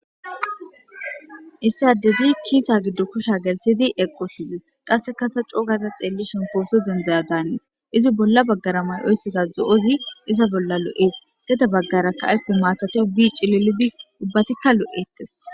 issi addezi kiisa giddo kusha gelsidi eqo utides qassekata cogada xeelli shomporso dendzaa daanees izi bolla baggara may7oyssika zo7ozi iza bolla lo7ees geda baggarakka aykko maatati ubbi cililidi ubbatikka lo'ettes